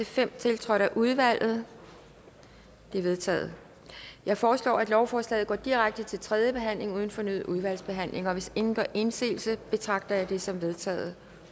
fem tiltrådt af udvalget de er vedtaget jeg foreslår at lovforslaget går direkte til tredje behandling uden fornyet udvalgsbehandling og hvis ingen gør indsigelse betragter jeg det som vedtaget